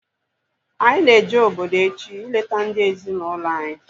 Anyị na-eje obodo echi ileta ndị ezi na ụlọ anyị